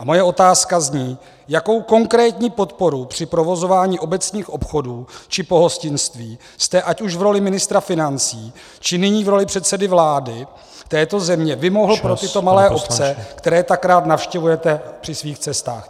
A moje otázka zní: Jakou konkrétní podporu při provozování obecních obchodů či pohostinství jste ať už v roli ministra financí, či nyní v roli předsedy vlády této země vymohl pro tyto malé obce, které tak rád navštěvujete při svých cestách?